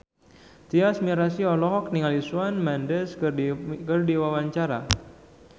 Tyas Mirasih olohok ningali Shawn Mendes keur diwawancara